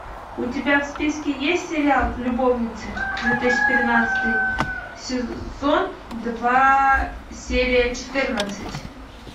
у тебя в списке есть сериал любовницы две тысячи тринадцатый сезон два серия четырнадцать